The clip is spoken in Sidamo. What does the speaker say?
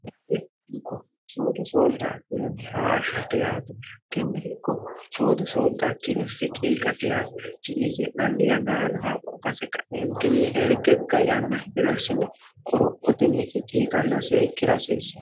leiko soodo sooldaakkironni hhshhateyati tennihikko soodo sooddaakkiro fi ciiqa tehaati ti iigi'nanni yanalano haqqu kase kaeentinni ergegga yanna hibilelsini qoro'otennikki ciiqanna seekki rasiissa